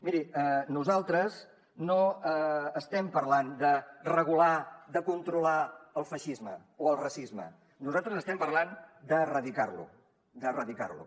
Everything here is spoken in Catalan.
miri nosaltres no estem parlant de regular de controlar el feixisme o el racisme nosaltres estem parlant d’erradicar lo d’erradicar lo